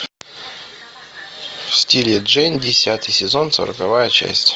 в стиле джейн десятый сезон сороковая часть